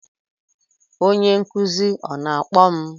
Onye nkuzi ọ na-akpọ m?